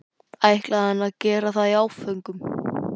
ætlaði hann að gera það í áföngum?